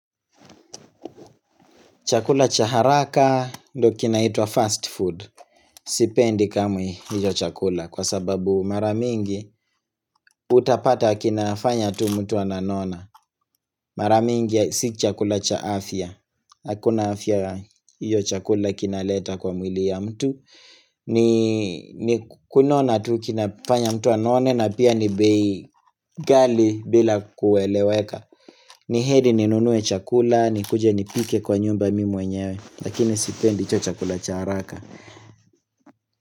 Chakula chaharaka ndo kinaitwa fast food. Sipendi kamwe hiyo chakula kwa sababu maramingi utapata kinafanya tu mtu ananona. Maramingi si chakula cha afya. Hakuna afya hiyo chakula kinaleta kwa mwili ya mtu. Kunona tu kinafanya mtu anone na pia ni bei ghali bila kueleweka. Ni heri ninunue chakula, nikuje nipike kwa nyumba mimi mwenyewe. Lakini sipendi hicho chakula cha haraka.